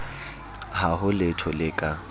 ha ho letho le ka